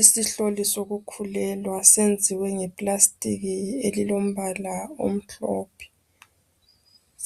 Isihloli sokukhulelwa, senziwe ngeplastic elilombala omhlophe.